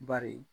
Bari